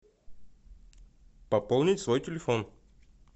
пополнить свой телефон